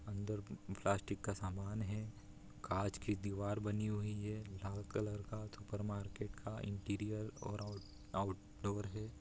अंदर प्लास्टिक का समान है काँच की दीवार बनी हुई है लाल कलर का सुपर मार्केट का इंटीरियर और आउट आउटडोर है।